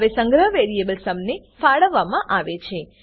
હવે સંગ્રહ variable sum ને ફાળવવામાં આવે છે